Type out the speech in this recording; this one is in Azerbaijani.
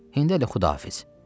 İndə də Xudafiz.